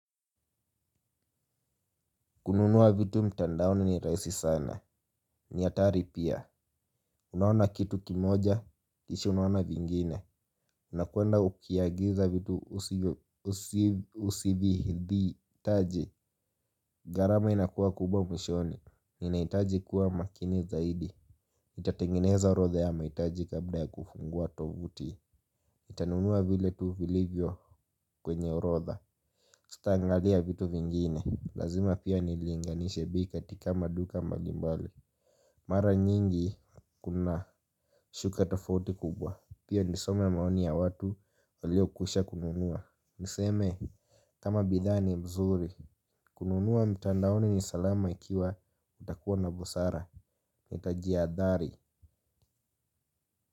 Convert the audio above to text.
Kununua vitu mtandaoni ni raisi sana. Ni atari pia. Unaona kitu kimoja kishi unaona vingine. Unakwenda ukiagiza vitu usivihitaji. Garama inakuwa kubwa mwishoni ninaitaji kuwa makini zaidi nitatengeneza rodha ya maitaji kabla ya kufungua tovuti ntanunua vile tu vilivyo kwenye orodha. Sita angalia vitu vingine. Lazima pia nilinganishe bei katika maduka mbalimbali. Mara nyingi kuna shuka tafaoti kubwa. Pio nisome maoni ya watu walio kwisha kununua. Niseme kama bidhaa ni mzuri. Kununua mtandaoni ni salama ikiwa ntakuwa na busara nitajiadhari.